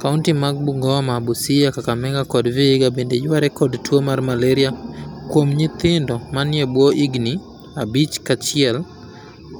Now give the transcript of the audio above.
Kaunti mag Bungoma, Busia, Kakamega kod Vihiga bende yware kod tuo mar malari akuom nyithindo manie bwo higni abich kaachiel